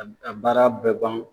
A baara bɛɛ ban